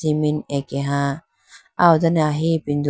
cement ake ha ahodone ahi ipindo.